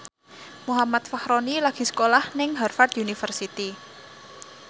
Muhammad Fachroni lagi sekolah nang Harvard university